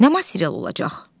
Nə material olacaq?